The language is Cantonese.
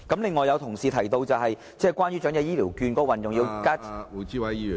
另外，有同事提到關於長者醫療券的運用......